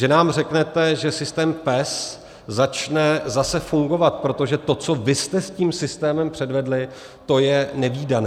Že nám řeknete, že systém PES začne zase fungovat, protože to, co vy jste s tím systémem převedli, to je nevídané.